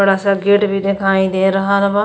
बड़ा सा गेट भी देखाई दे रहल बा।